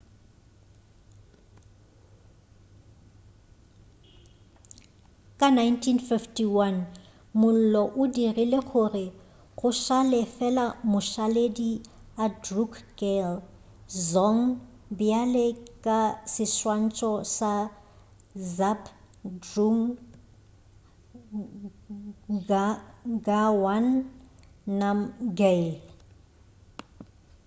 ka 1951 mollo o dirile gore go šale fela mašaledi a drukgyal dzong bjale ka seswantšho sa zhabdrung ngawang namgyal